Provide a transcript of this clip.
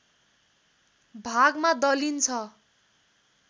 भागमा दलिन्छ